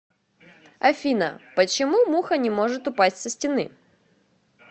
афина почему муха не может упасть со стены